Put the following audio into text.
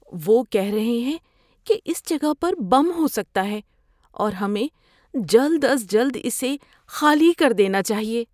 وہ کہہ رہے ہیں کہ اس جگہ پر بم ہو سکتا ہے اور ہمیں جلد از جلد اسے خالی کر دینا چاہیے۔